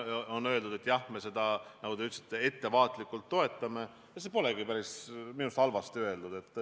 On öeldud, et jah, me seda, nagu te ütlesite, ettevaatlikult toetame, ja see polegi minu arust päris halvasti öeldud.